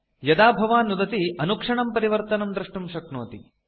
यदा भवान् नुदति तदा तदैव परिवर्तनं दृष्टुं शक्नोति